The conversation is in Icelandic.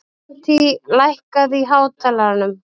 Avantí, lækkaðu í hátalaranum.